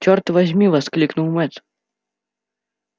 чёрт возьми воскликнул мэтт